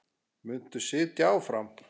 Muntu sitja áfram?